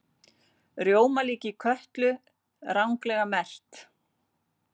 Rjómalíki Kötlu ranglega merkt